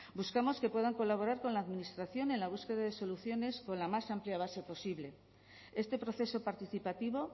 buscamos que puedan colaborar con la administración en la búsqueda de soluciones con la más amplia base posible este proceso participativo